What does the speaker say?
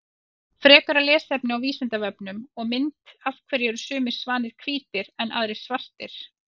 Frekara lesefni á Vísindavefnum og mynd Af hverju eru sumir svanir hvítir en aðrir svartir?